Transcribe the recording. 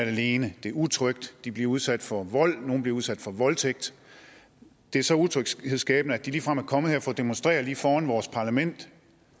alene det er utrygt de bliver udsat for vold og nogle bliver udsat for voldtægt det er så utrygt at de ligefrem er kommet her for at demonstrere lige foran vores parlament